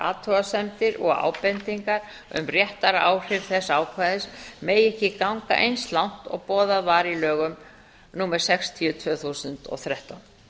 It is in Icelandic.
athugasemdir og ábendingar um réttaráhrif þessa ákvæðis megi ekki ganga eins langt og boðað var í lögum númer sextíu tvö þúsund og þrettán